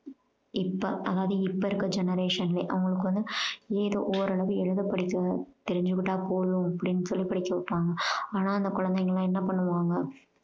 இப்போ அதாவது இப்போ இருக்க generation ல அவங்களுக்கு வந்து ஏதோ ஓரளவு எழுத படிக்க தெரிஞ்சுக்கிட்டா போதும் அப்படீன்னு சொல்லி படிக்க வப்பாங்க. ஆனா அந்த குழந்தைங்களெல்லாம் என்ன பண்ணுவாங்க